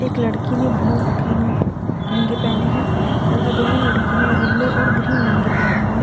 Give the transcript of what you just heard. एक लड़की ने ब्लू ग्रीन लहंगे पहने हैं तथा दोनों लड़की येलो और ग्रीन लहंगे पहने हुए--